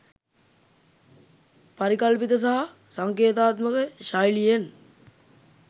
පරිකල්පිත සහ සංකේතාත්මක ශෛලියෙන්